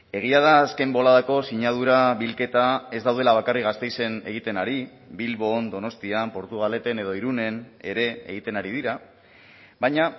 egia da azken boladako sinadura bilketa ez daudela bakarrik gasteizen egiten ari bilbon donostian portugaleten edo irunen ere egiten ari dira baina